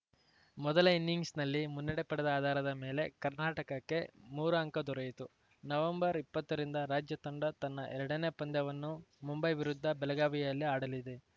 ಮೊದಲ ಇನ್ನಿಂಗ್ಸ್‌ನಲ್ಲಿ ಮುನ್ನಡೆ ಪಡೆದ ಆಧಾರದ ಮೇಲೆ ಕರ್ನಾಟಕಕ್ಕೆ ಮೂರು ಅಂಕ ದೊರೆಯಿತು ನವೆಂಬರ್ಇಪ್ಪತ್ತರಿಂದ ರಾಜ್ಯ ತಂಡ ತನ್ನ ಎರಡನೇ ಪಂದ್ಯವನ್ನು ಮುಂಬೈ ವಿರುದ್ಧ ಬೆಳಗಾವಿಯಲ್ಲಿ ಆಡಲಿದೆ